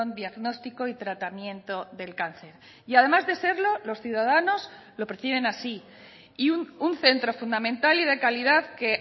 diagnóstico y tratamiento del cáncer y además de serlo los ciudadanos lo perciben así y un centro fundamental y de calidad que